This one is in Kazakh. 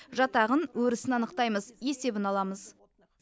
жатағын өрісін анықтаймыз есебін аламыз